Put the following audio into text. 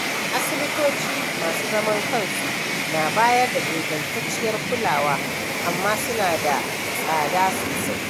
Asibitoci masu zaman kansu na bayar da ingantacciyar kulawa, amma suna da tsada sosai.